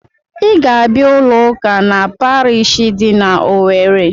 Ị ga-abịa ụlọ ụka na pariishi dị n'Owerre!